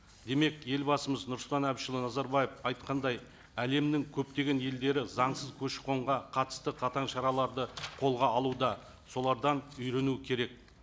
демек елбасымыз нұрсұлтан әбішұлы назарбаев айтқандай әлемнің көптеген елдері заңсыз көші қонға қатысты қатаң шараларды қолға алуда солардан үйрену керек